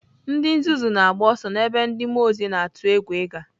Ndị nzuzu na-agba ọsọ n'ebe ndị mmụọ ozi na-atụ egwu ịga.